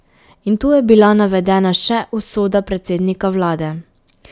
In tu je bila navedena še usoda predsednika vlade.